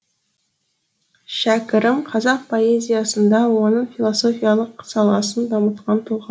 шәкәрім қазақ поэзиясында оның философиялық саласын дамытқан тұлға